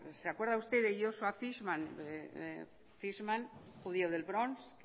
se acuerda usted de joshua fishman fishman un judio del bronx